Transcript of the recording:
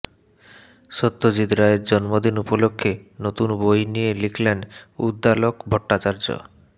সত্যজিৎ রায়ের জন্মদিন উপলক্ষে নতুন বই নিয়ে লিখলেন উদ্দালক ভট্টাচার্য